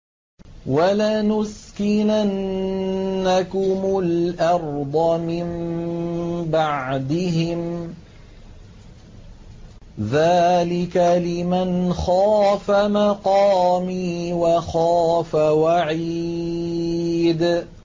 وَلَنُسْكِنَنَّكُمُ الْأَرْضَ مِن بَعْدِهِمْ ۚ ذَٰلِكَ لِمَنْ خَافَ مَقَامِي وَخَافَ وَعِيدِ